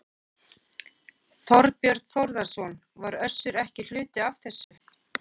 Þorbjörn Þórðarson: Var Össur ekki hluti af þessu?